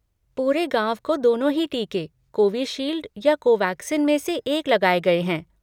पूरे गाँव को दोनों ही टीके, कोविशील्ड या कोवैक्सिन में से एक लग गये हैं।